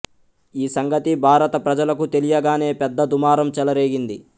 ఈ సంగతి భారత ప్రజలకు తెలియగానే పెద్ద దుమారం చెలరేగింది